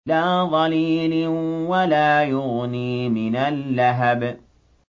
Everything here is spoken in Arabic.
لَّا ظَلِيلٍ وَلَا يُغْنِي مِنَ اللَّهَبِ